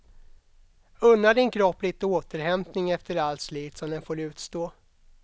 Unna din kropp lite återhämtning efter allt slit som den får utstå.